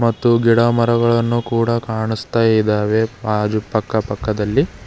ಮತ್ತು ಮರಗಳನ್ನು ಕೂಡಾ ಕನಾಸ್ತಾ ಇದಾವೆ ಬಾಜು ಪಕ್ಕಾ ಪಕ್ಕದಲ್ಲಿ.